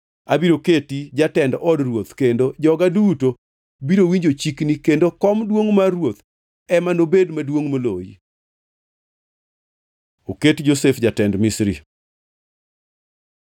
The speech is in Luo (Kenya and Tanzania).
Abiro keti jatend od ruoth kendo joga duto biro winjo chikni kendo kom duongʼ mar ruoth ema nobed maduongʼ moloyi.” Oket Josef jatend Misri